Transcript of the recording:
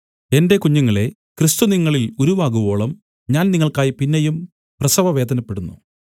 എന്റെ കുഞ്ഞുങ്ങളെ ക്രിസ്തു നിങ്ങളിൽ ഉരുവാകുവോളം ഞാൻ നിങ്ങൾക്കായി പിന്നെയും പ്രസവവേദനപ്പെടുന്നു